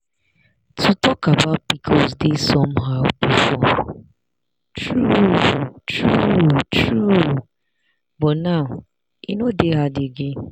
to talk about pcos dey somehow before true true true but now e no dey hard again.